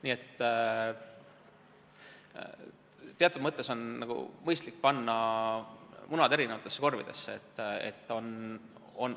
Nii et teatud mõttes on mõistlik panna munad eri korvidesse.